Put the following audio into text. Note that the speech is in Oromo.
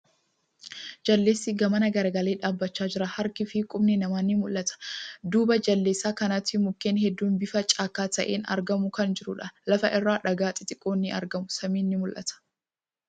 Jaldeessi gamana garagalee dhaabbachaa jira. Harki fi qubni namaa ni mul'ata. Duuba Jaldeessa kanaatti mukkeen hedduun bifa caakkaa ta'een argamu kan jiruudha. Lafa irra dhagaa xixiqqoon ni argamu. Samiin ni mul'ata.